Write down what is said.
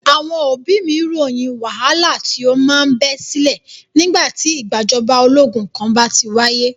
Àwọn òbí mí ròyìn wàhálà tí o máa ń bẹ sílẹ̀ nígbà tí ìgbàjọba ológun kan bá ti wáyé.